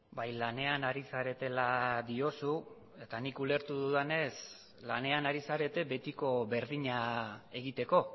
bai lanean ari zaretela diozu eta nik ulertu dudanez lanean ari zarete betiko berdina egiteko